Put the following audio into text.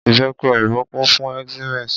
Ìbẹ́pe òyìnbó kún fún enzymes.